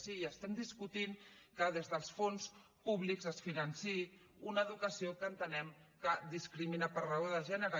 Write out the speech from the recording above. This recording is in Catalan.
sí i estem discutint que des dels fons públics es financi una educació que entenem que discrimina per raó de gènere